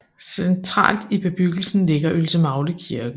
Centralt i bebyggelsen ligger Ølsemagle Kirke